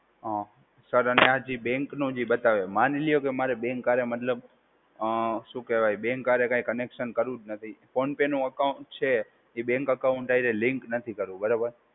હા. સર, અને આ જે બેંકનું જે બતાવે, માની લ્યો કે અમારે બેંક હારે મતલબ અ શું કહેવાય બેંક હારે કઈ કનેક્શન કરવું જ નથી. ફોન પે નું એકાઉન્ટ છે એ બેંક અકાઉંટ હારે લિંક નથી કરવું, બરાબર?